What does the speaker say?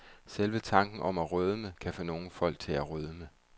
Selve tanken om at rødme, kan få nogle folk til at rødme.